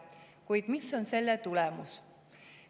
Kuid mis on selle tulemus?